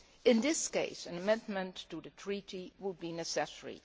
In this case, an amendment to the Treaty would be necessary.